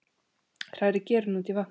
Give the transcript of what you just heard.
Hrærið gerinu út í vatnið.